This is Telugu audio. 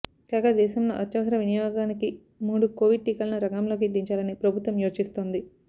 కాగా దేశంలో అత్యవసర వినియోగానికి మూడు కొవిడ్ టీకాలను రంగంలోకి దించాలని ప్రభుత్వం యోచిస్తోంది